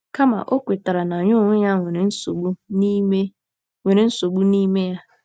Kama, ọ kwetara na ya onwe ya nwere nsogbu n'ime nwere nsogbu n'ime ya.